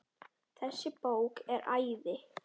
Þessi bók er æði.